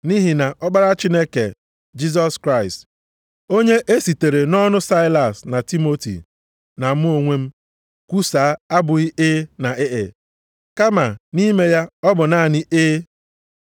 Nʼihi na Ọkpara Chineke, Jisọs Kraịst, onye e sitere nʼọnụ Saịlas na Timoti na mụ onwe m kwusaa abụghị “E” na “E e,” kama nʼime ya ọ bụ naanị “E.”